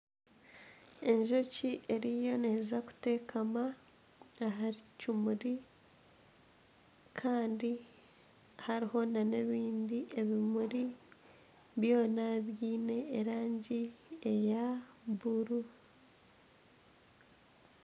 Enjoki eriyo neeza kuteekama aha kimuri kandi hariho na n'ebindi ebimuri byona byine erangi eya buru.